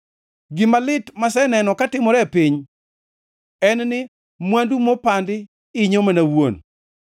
Gima lit maseneno katimore e piny en ni mwandu mopandi inyo mana wuon,